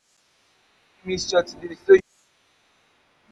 nothing go fit make me miss church today so you no need to worry